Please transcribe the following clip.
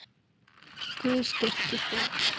Guð styrki þig.